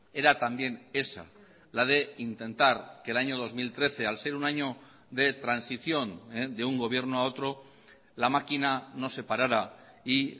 era también esa la de intentar que el año dos mil trece al ser un año de transición de un gobierno a otro la máquina no se parara y